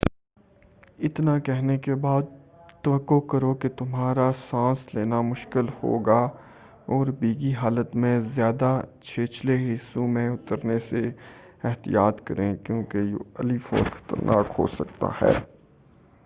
اتنا کہنے کے بعد توقع کرو کہ تمہارا سانس لینا مشکل ہوگا اور بھیگی حالت میں زیادہ چھچھلے حصوں مین اترنے سے احتیاط کریں کیوں کہ یہ علی الفور خطرناک ہو سکتا ہے